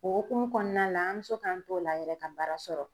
O hokumu kɔnɔna la an mɛ se k'an t'o la yɛrɛ ka baara sɔrɔ.